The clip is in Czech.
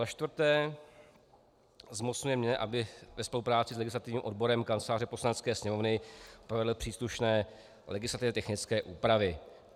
Za čtvrté zmocňuje mě, abych ve spolupráci s legislativním odborem Kanceláře Poslanecké sněmovny provedl příslušné legislativně technické úpravy.